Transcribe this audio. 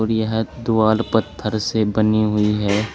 और यह दिवाल पत्थर से बनी हुई है।